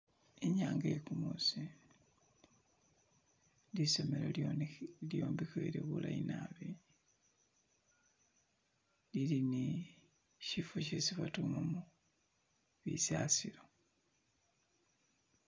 Inyanga ye gumuusi lisomelo lyombekhewele bulayi naabi lili ni shifo shesi badumamo bisasilo.